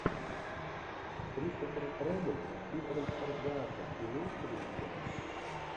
кристофер робин с питером сарсгаардом имеется ли у тебя